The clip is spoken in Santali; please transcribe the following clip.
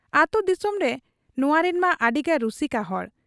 ᱟᱹᱛᱩ ᱫᱤᱥᱚᱢᱨᱮ ᱱᱚᱶᱟᱨᱤᱱ ᱢᱟ ᱟᱹᱰᱤᱜᱮ ᱨᱩᱥᱤᱠᱟ ᱦᱚᱲ ᱾